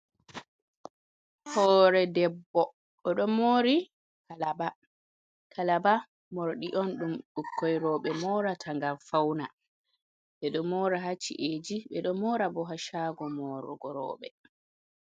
Hore debbo o ɗo mori kalba, kalba morɗi on ɗum ɓukkon rooɓe morata ngam fauna, ɓe ɗo mora ha ci'eji ɓe ɗo mora bo ha shago morugo rooɓe.